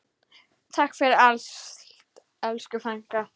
Takk fyrir allt, elsku frænka.